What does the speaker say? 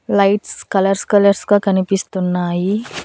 Lights colours colours గా కనిపిస్తున్నాయి.